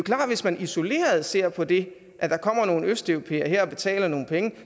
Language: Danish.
hvis man isoleret ser på det at der kommer nogle østeuropæere her og betaler nogle penge